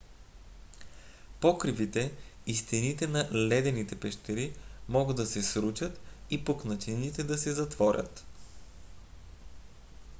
покривите и стените на ледените пещери могат да се срутят и пукнатините да се затворят